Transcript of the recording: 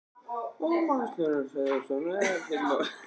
Magnús Hlynur Hreiðarsson: Og er ekkert mál að gata krónuna?